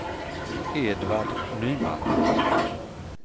Edvard Nyman